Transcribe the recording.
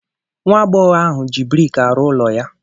Nwa agbọghọ ahụ ji brik arụ ụlọ ya.